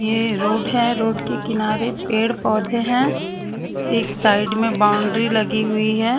ये रोड है रोड के किनारे पेड़ पौधे हैं एक साइड में बाउंड्री लगी हुई है।